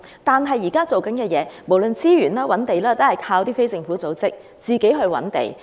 可是，現時的做法，無論資源或覓地等，全靠非政府組織自行籌劃。